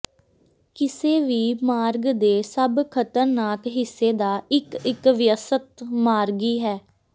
ਕਿਸੇ ਵੀ ਮਾਰਗ ਦੇ ਸਭ ਖਤਰਨਾਕ ਹਿੱਸੇ ਦਾ ਇੱਕ ਇੱਕ ਵਿਅਸਤ ਮਾਰਗੀ ਹੈ